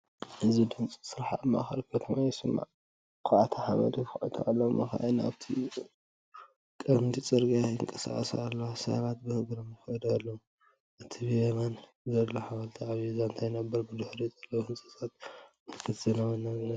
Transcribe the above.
እዚ ድምጺ ስራሕ ኣብ ማእከል ከተማ ይስማዕ፡ ኳዕቲ ሓመድ ይኹዕቱ ኣለዉ። መካይን ኣብቲ ቀንዲ ጽርግያ ይንቀሳቐሳ ኣለዋ፡ ሰባት ብእግሮም ይኸዱ ኣለዉ። እቲ ብየማን ዘሎ ሓወልቲ ዓቢ ዛንታ ይነግር፡ ብድሕሪኡ ዘለዉ ህንጻታት ምልክት ዘመናዊነት እዮም።